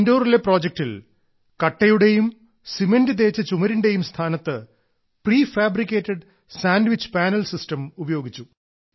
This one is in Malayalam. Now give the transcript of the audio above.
ഇൻഡോറിലെ പ്രോജക്ടിൽ കട്ടയുടെയും സിമന്റ് തേച്ച ചുമരിന്റെയും സ്ഥാനത്ത് prefabricated sandwich panel system ഉപയോഗിച്ചു